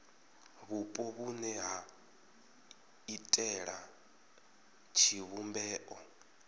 vhupo vhune ha iitela tshivhumbeo